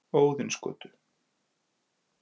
Óðinsgötu